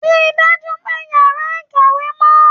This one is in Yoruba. Rí i dájú pé ìyàrá- ìkàwé mọ́.